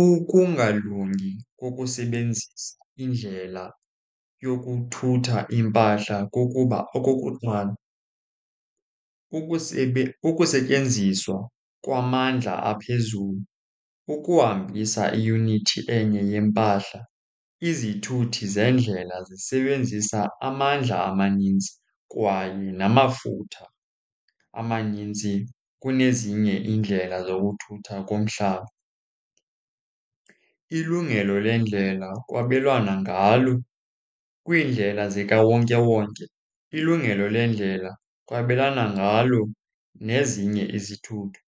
Ukungalungi kokusebenzisa indlela yokuthutha iimpahla kukuba, okokuqala, kukusetyenziswa kwamandla aphezulu ukuhambisa iyunithi enye yempahla. Izithuthi zendlela zisebenzisa amandla amaninzi kwaye namafutha amaninzi kunezinye iindlela zokuthutha komhlaba. Ilungelo lendlela kwabelwana ngalo, kwiindlela zikawonkewonke ilungelo lendlela kwabelwana ngalo nezinye izithuthi.